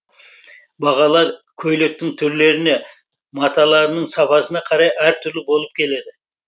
бағалар көйлектің түрлеріне маталарының сапасына қарай әр түрлі болып келеді